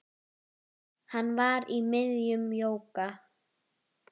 Hann var í miðjum jóga